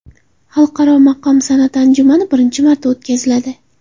Xalqaro maqom san’ati anjumani birinchi marta o‘tkaziladi.